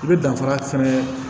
I bɛ danfara fɛnɛ